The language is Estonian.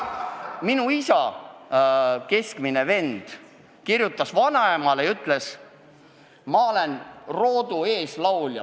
Minu isa keskmine vend kirjutas vanaemale ja ütles, ma olen roodu eeslaulja.